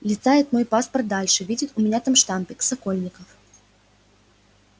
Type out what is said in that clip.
листает мой паспорт дальше видит у меня там штампик сокольников